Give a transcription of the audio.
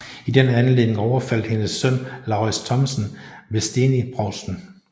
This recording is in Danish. I den anledning overfaldt hendes søn Laurids Thomsen Vesteni provsten